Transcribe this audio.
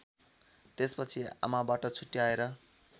त्यसपछि आमाबाट छुट्याएर